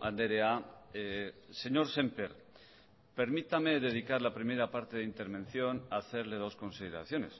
andrea señor sémper permítame dedicar la primera parte de intervención a hacerle dos consideraciones